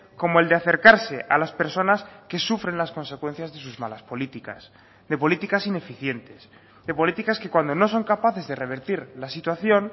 como el de acercarse a las personas que sufren las consecuencias de sus malas políticas de políticas ineficientes de políticas que cuando no son capaces de revertir la situación